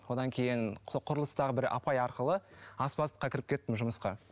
онан кейін сол құрылыстағы бір апай арқылы аспаздыққа кіріп кеттім жұмысқа